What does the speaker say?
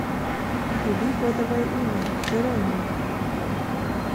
вруби кодовое имя джеронимо